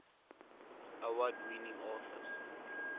award winning authors